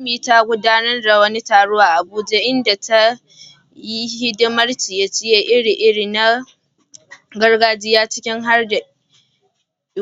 Funmi ta gudanar da wani taro a Abuja inda ta yi hidimar ciye-ciye iri-iri na gargajiya, ciki har da